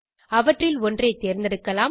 அவற்றில் ஒன்றை தேர்ந்தெடுக்கலாம்